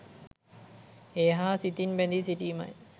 ඒ හා සිතින් බැඳී සිටීමයි.